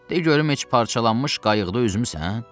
De görüm heç parçalanmış qayıqda üzmüsən?